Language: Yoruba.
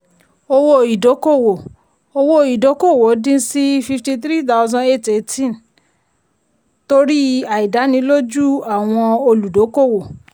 owó ìdókòwò owó ìdókòwò dín sí fifty three thousand eight eighteen torí àìdánilójú àwọn olùdókòwò.